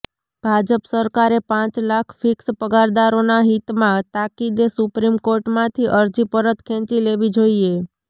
ભાજપ સરકારે પાંચ લાખ ફિક્સ પગરદારોના હિતમાં તાકીદે સુપ્રીમ કોર્ટમાંથી અરજી પરત ખેંચી લેવી જોઈએ